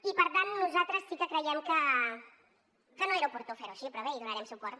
i per tant nosaltres sí que creiem que no era oportú fer ho així però bé hi donarem suport